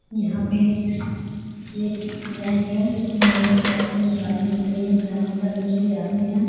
यहाँ पे एक बैंक है इसमें लोग पैसा निकालने के लिए जमा करने के लिए आते है।